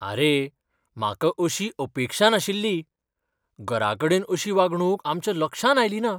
आरे, म्हाका अशी अपेक्षा नाशिल्ली. घराकडेन अशी वागणूक आमच्या लक्षांत आयली ना.